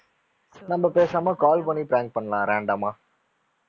நம்ம பேசாம call பண்ணி prank பண்ணலாம் random ஆ